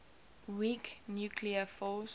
weak nuclear force